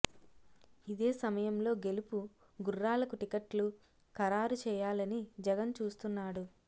ఇదే సమయంలో గెలుపు గుర్రాలకు టికెట్లు ఖరారు చేయాలని జగన్ చూస్తున్నాడు